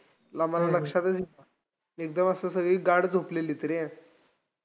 आम्हाला लक्षातच येईना. एकदम असं सगळी गाढ झोपलेलीत रे.